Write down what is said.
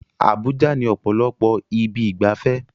Abuja ní ọ̀pọ̀lọpọ̀ ibi ìgbafẹ́